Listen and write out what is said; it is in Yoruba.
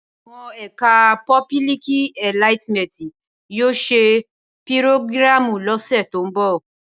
Awón ẹkà pọbílìkí ẹlàtímẹtì yio sẹ pírògíràmú lósẹ to mbọ.